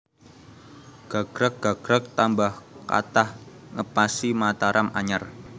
Gagrag gagrag tambah kathah ngepasi Mataram anyar